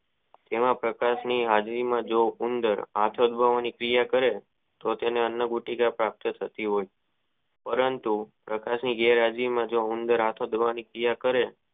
જેવા પ્રકાર ની હાજરી માં જેવા ઉંદર આંખ દબાવાની કિયાકરે તો તેને અનુભૂતિ પ્રાપ્ત હોય પરંતુ પ્રકસ ની ગેર હાજરી માં ઉંદર આખો ચોળવાની કિયા કરે.